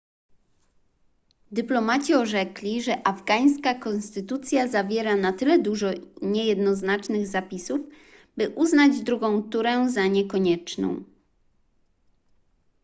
dyplomaci orzekli że afgańska konstytucja zawiera na tyle dużo niejednoznacznych zapisów by uznać drugą turę za niekonieczną